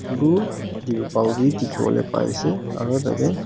blue terpal wi dikhiwole pari ase asu tatey--